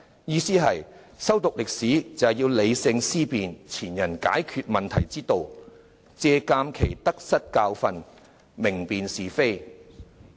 "意思是修讀歷史旨在理性思辨前人解決問題之道，借鑒其得失教訓，明辨是非。